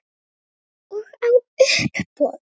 Vilja gleypa mig.